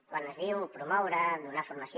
quan es diu promoure donar formació